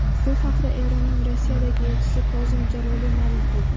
Bu haqda Eronning Rossiyadagi elchisi Kozim Jaloliy ma’lum qilgan .